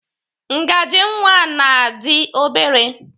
Ngaji nwa na dị obere.